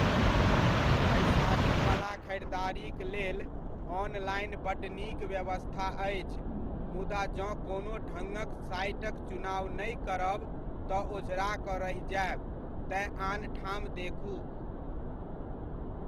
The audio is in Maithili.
बैसारीबला खरिदारीक लेल ऑनलाइन बड्ड नीक व्यवस्था अछि, मुदा जँ कोनो ढङ्गक साइटक चुनाव नहि करब तऽ ओझरा कऽ रहि जायब, तेँ आन ठाम देखू।